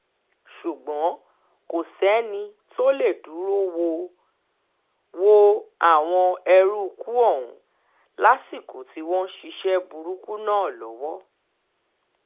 ṣùgbọ́n kò sẹ́ni tó lè dúró wọ wọ àwọn eruùkù ọ̀hún lásìkò tí wọ́n ń ṣiṣẹ́ burúkú náà lọ́wọ́